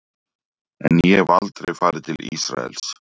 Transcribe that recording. En ég hef aldrei farið til Ísraels.